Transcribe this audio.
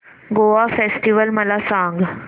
Goa festival मला सांग